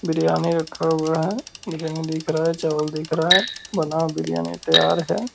बिरयानी रखा हुआ है रंग दिख रहा है चावल दिख रहा है बना बिरयानी तैयार है ।